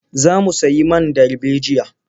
Za mu sayi man darbejiya.